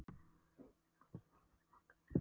Veðrið var milt, þrátt fyrir broddinn í morgunkulinu.